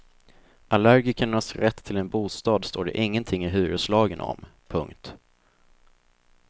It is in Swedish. Allergikernas rätt till en bostad står det ingenting i hyreslagen om. punkt